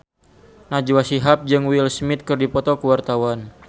Najwa Shihab jeung Will Smith keur dipoto ku wartawan